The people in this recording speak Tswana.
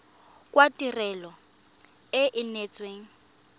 jwa tirelo e e neetsweng